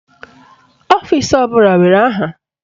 Ọfisi ọbụla nwere aha.